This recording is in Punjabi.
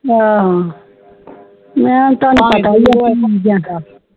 ਆਹ